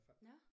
Nå?